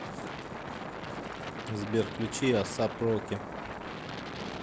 сбер включи асап роки